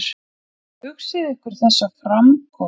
Hugsið ykkur þessa framkomu!